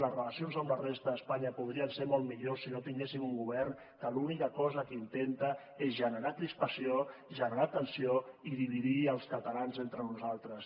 les relacions amb la resta d’espanya podrien ser molt millors si no tinguéssim un govern que l’única cosa que intenta és generar crispació generar tensió i dividir els catalans entre nosaltres